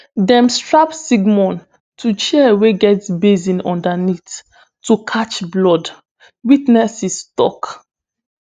dem strap sigmon to chair wey get basin underneath to catch blood witnesses tok